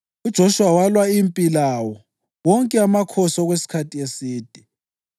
UJoshuwa walwa impi lawo wonke amakhosi okwesikhathi eside.